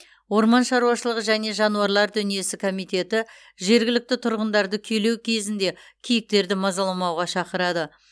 орман шаруашылығы және жануарлар дүниесі комитеті жергілікті тұрғындарды күйлеу кезінде киіктерді мазаламауға шақырады